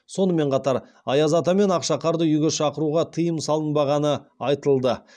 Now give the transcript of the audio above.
сонымен қатар аяз ата мен ақшақарды үйге шақыруға тыйым салынбағаны айтылды